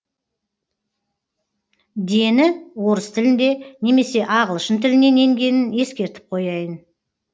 дені орыс тілінде немесе ағылшын тілінен енгенін ескертіп қояйын